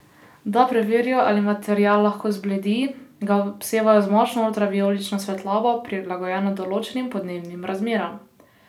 Da preverijo, ali material lahko zbledi, ga obsevajo z močno ultravijolično svetlobo, prilagojeno določenim podnebnim razmeram.